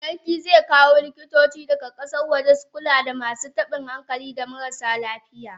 Sarki zekawo likitoci daga kasan waje su Kula da masu tabin hankali da marasa lafiya.